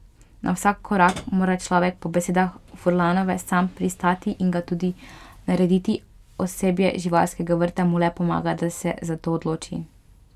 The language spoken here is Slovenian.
Na vsak korak mora človek po besedah Furlanove sam pristati in ga tudi narediti, osebje živalskega vrta mu le pomaga, da se za to odloči.